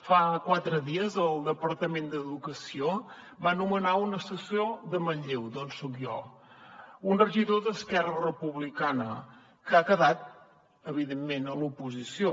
fa quatre dies el departament d’educació va nomenar un assessor de manlleu d’on soc jo un regidor d’esquerra republicana que ha quedat evidentment a l’oposició